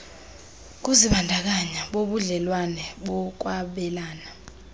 kuzibandakanya kubudlelwane bokwabelana